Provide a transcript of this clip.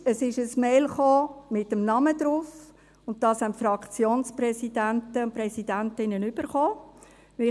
Es kam eine EMail mit dem Namen darauf, das die Fraktionspräsidenten und -präsidentinnen erhalten haben.